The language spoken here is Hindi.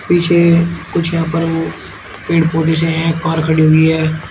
पीछे कुछ यहां पर वो पेड़ पौधे से हैं कार खड़ी हुई है।